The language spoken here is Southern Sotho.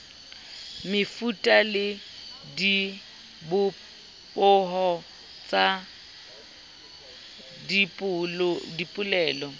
mefuta le dibopeho tsa dipolelo